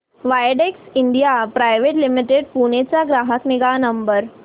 Widex India private limited Pune चा ग्राहक निगा नंबर